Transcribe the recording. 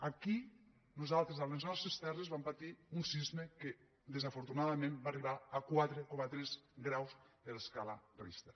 aquí nosaltres a les nostres terres vam patir un sisme que desafortunadament va arribar a quatre coma tres graus de l’escala richter